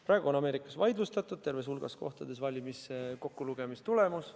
Praegu on Ameerikas terves hulgas kohtades vaidlustatud häälte kokkulugemise tulemus.